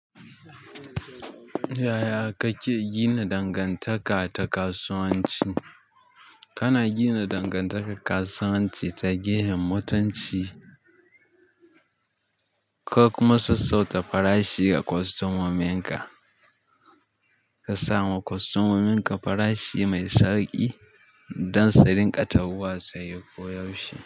Yaya kake gina dangantaka ta kasuwanci? Kana ginan dangantakar kasuwanci ta gefen mutunci ko kuma sassauta farashi ga kostomominka. Ka sama kostomominka farashi mai sauƙi don su rinƙa tahowa saye koyaushe.